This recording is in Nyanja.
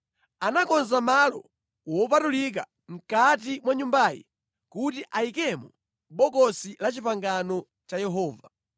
Anakonza malo wopatulika mʼkati mwa Nyumbayi kuti ayikemo Bokosi la Chipangano cha Yehova.